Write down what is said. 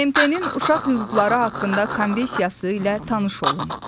BMT-nin Uşaq Hüquqları haqqında Konvensiyası ilə tanış olun.